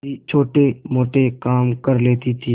भी छोटेमोटे काम कर लेती थी